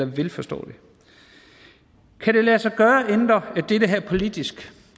vil forstå det kan det lade sig gøre at ændre det her politisk